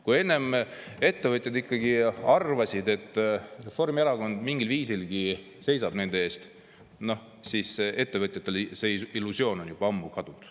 Kui enne ettevõtjad ikkagi arvasid, et Reformierakond mingilgi viisil seisab nende eest, siis nüüd on ettevõtjatel see illusioon juba ammu kadunud.